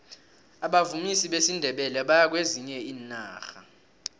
abavumi besindebele bayaya kwezinye iinarha